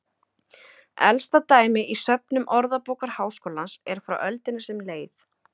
Elsta dæmi í söfnum Orðabókar Háskólans er frá öldinni sem leið.